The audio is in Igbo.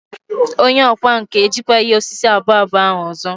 Onye ọkwá nkà ejikwaghị osisi abụọ abụọ ahụ ọzọ.